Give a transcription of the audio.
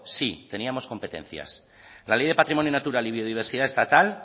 sí teníamos competencia la ley de patrimonio natural y biodiversidad estatal